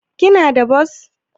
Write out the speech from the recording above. Kana da bos?